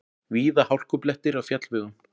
Víða hálkublettir á fjallvegum